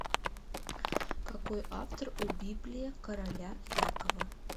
какой автор у библия короля якова